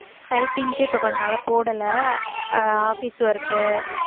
typing க்கு இப்ப கொஞ்ச நாளா போடல அஹ் office work உ